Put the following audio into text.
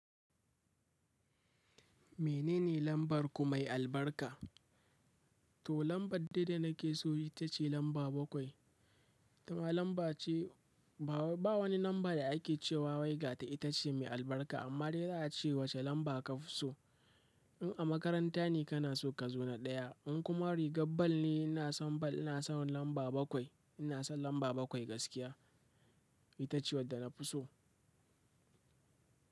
Menene lambar ku mai albarka? To lambar dai da nake so ita ce lamba bakwai. Ba wani lamba da ake cewa wai ga ta itace mai albarka, amma dai za ace wace lumba ce ka fi so. In a makaranta ne ka na so kazo na ɗaya, in kuma rigar ball ne ina son ball ina son lamba bakwai. Ina son lamba bakwai gaskiya. Ita ce wadda na fi so.